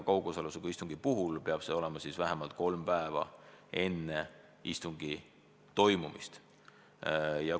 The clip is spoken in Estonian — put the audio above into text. Kaugosalusega istungi puhul peab see olema tehtud vähemalt kolm päeva enne istungi toimumist.